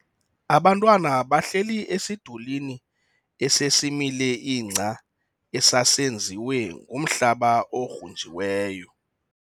Abantwana bahleli esidulini esesimile ingca esasenziwe ngumhlaba ogrunjiweyo.